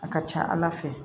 A ka ca ala fɛ